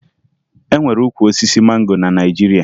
E nwere ukwu osisi mango na Naịjirịa